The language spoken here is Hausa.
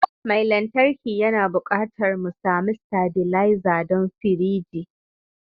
Mai lantarki yana buƙatar mu sami stabilizer don firiji